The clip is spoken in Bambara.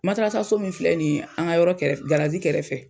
Matarasaso min filɛ nin ye an ŋa yɔrɔ kɛrɛf garazi kɛrɛfɛ